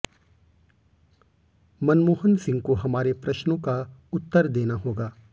मनमोहन सिंह को हमारे प्रश्नों का उत्तर देना होगा